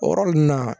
O yɔrɔ ninnu na